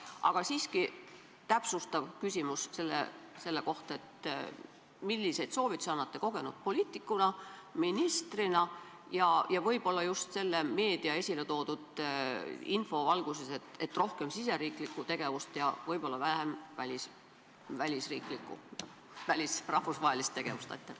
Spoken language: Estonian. Aga siiski, täpsustav küsimus selle kohta: milliseid soovitusi annate kogenud poliitikuna, ministrina võib-olla just meedia esiletoodud info valguses, et rohkem riigisisest tegevust ja võib-olla vähem rahvusvahelist tegevust?